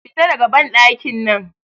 Fita daga banɗakin nan!